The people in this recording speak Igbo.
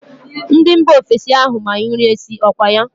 Ndị mba ofesi ahụ ma nri esi, ọkwa ya?